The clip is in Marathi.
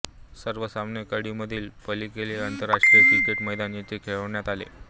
सर्व सामने कँडी मधील पलेकेले आंतरराष्ट्रीय क्रिकेट मैदान येथे खेळविण्यात आले